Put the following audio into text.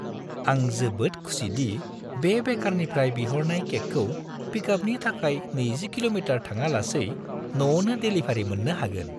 आं जोबोद खुसि दि बे बेकारनिफ्राय बिहरनाय केकखौ पिकआपनि थाखाय 20 किल'मिटार थाङालासै न'आवनो देलिभारि मोननो हागोन।